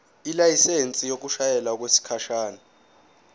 ilayisensi yokushayela okwesikhashana